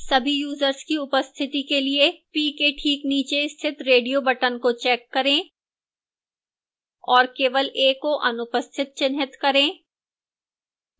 सभी यूजर्स की उपस्थिति के लिए p के ठीक नीचे स्थित radio button को check करें और केवल a को अनुपस्थित चिह्नित करें